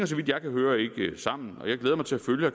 så vidt jeg kan høre ikke sammen og jeg glæder mig til at følge